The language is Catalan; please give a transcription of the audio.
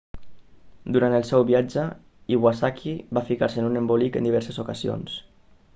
durant el seu viatge iwasaki va ficar-se en un embolic en diverses ocasions